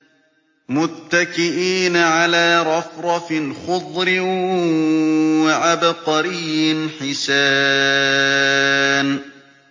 مُتَّكِئِينَ عَلَىٰ رَفْرَفٍ خُضْرٍ وَعَبْقَرِيٍّ حِسَانٍ